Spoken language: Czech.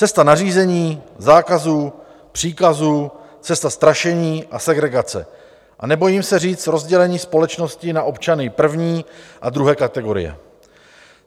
Cesta nařízení, zákazů, příkazů, cesta strašení a segregace a nebojím se říct rozdělení společnosti na občany první a druhé kategorie.